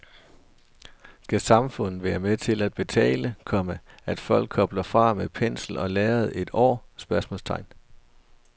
Skal samfundet være med til at betale, komma at folk kobler fra med pensel og lærred et år? spørgsmålstegn